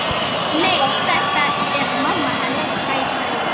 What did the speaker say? Nei, þetta er mamma hennar, sagði Lóa.